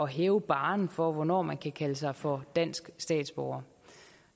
hæve barren for hvornår man kan kalde sig for dansk statsborger